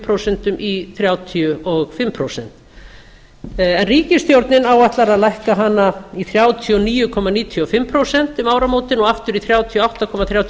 prósent í þrjátíu og fimm prósent en ríkisstjórnin áætlar að lækka hana í þrjátíu og níu komma níutíu og fimm prósent um áramótin og aftur í þrjátíu og átta komma þrjátíu og